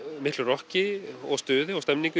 miklu rokki og stuði og stemningu í